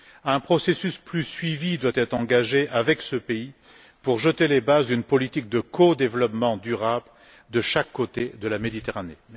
Un processus plus suivi doit être engagé avec ce pays pour jeter les bases d'une politique de codéveloppement durable de chaque côté de la Méditerranée.